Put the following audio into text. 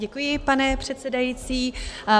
Děkuji, pane předsedající.